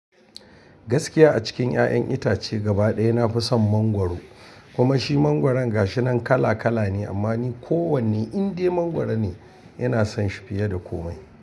Gaskiya a cikin 'ya'yan itace gabaɗaya na fi son mangwaro, kuma shi mangwaron gashi nan kala kala ne amma ni kowanne indai mangwaro ne ina son shi fiye da komai.